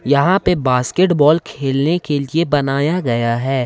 यहां पे बास्केटबॉल खेलने के लिए बनाया गया है।